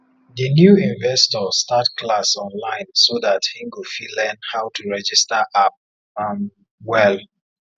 di new investor start class online so that him go fit learn how to register app um well